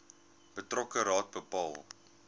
betrokke raad bepaal